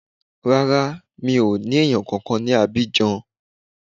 Rárá, mi ò ní èèyàn kankan ní Abidjan